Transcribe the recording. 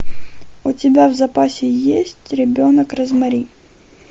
у тебя в запасе есть ребенок розмари